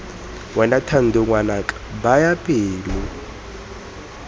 wena thando ngwanaka baya pelo